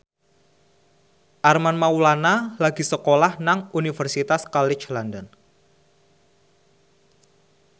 Armand Maulana lagi sekolah nang Universitas College London